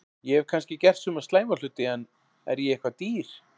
Ég hef kannski gert suma slæma hluti en er ég eitthvað dýr?